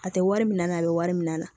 A tɛ wari minɛ a la a bɛ wari minɛ a na